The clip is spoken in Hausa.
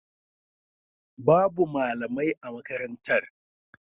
Babu malamai a makarantar.